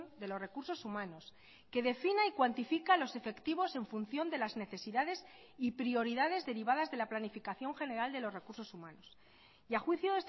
de los recursos humanos que defina y cuantifica los efectivos en función de las necesidades y prioridades derivadas de la planificación general de los recursos humanos y a juicio